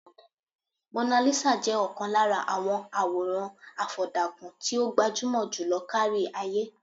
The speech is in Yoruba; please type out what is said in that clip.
Monalisa jẹ́ ọ̀kan lára àwọn àwòràn àfọ̀dàkùn tí ó gbajúmọ̀ jùlọ kárí-ayé.